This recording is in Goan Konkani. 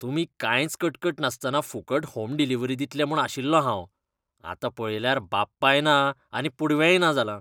तुमी कांयच कटकट नासतना फुकट होम डिलीवरी दितलें म्हूण आशिल्लो हांव, आतां पळयल्यार बाप्पाय ना आनी पुडवेंय ना जालां.